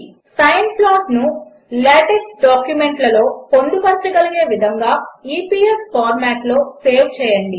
sign ప్లాట్ను LaTeX డాక్యుమెంట్లలో పొందుపరచగలిగే విధంగా ఇపిఎస్ ఫార్మాట్లో సేవ్ చేయండి